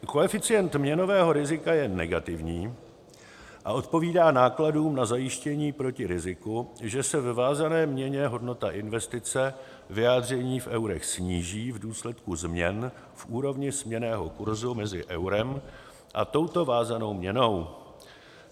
Koeficient měnového rizika je negativní a odpovídá nákladům na zajištění proti riziku, že se ve vázané měně hodnota investice, vyjádření v eurech, sníží v důsledku změn v úrovni směnného kurzu mezi eurem a touto vázanou měnou.